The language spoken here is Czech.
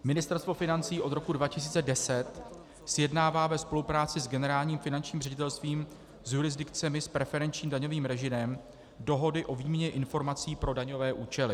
Ministerstvo financí od roku 2010 sjednává ve spolupráci s Generálním finančním ředitelstvím s jurisdikcemi s preferenčním daňovým režimem dohody o výměně informací pro daňové účely.